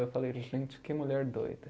Eu falei, gente, que mulher doida.